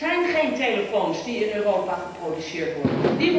Er zijn geen telefoons die in Europa geproduceerd worden.